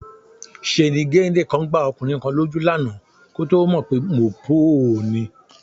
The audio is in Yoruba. Ṣeni géńdé kán gbá ọkùnrin kan lójú lánàá kó tó mọ̀ pé Mòpóò ni